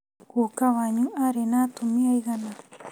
Guka wanyu arĩ na atumia aigana